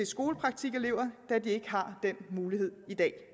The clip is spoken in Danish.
skolepraktikelever da de ikke har den mulighed i dag